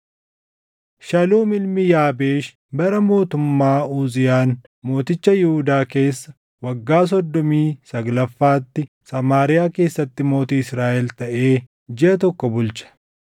Shaluum ilmi Yaabeesh bara mootummaa Uziyaan mooticha Yihuudaa keessa waggaa soddomii saglaffaatti Samaariyaa keessatti mootii Israaʼel taʼee jiʼa tokko bulche.